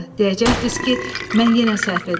Deyəcəkdilər ki, mən yenə səhv edirəm.